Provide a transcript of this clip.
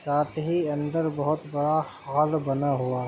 साथ हि अनदर बहुत बड़ा हॉल बना हुआ --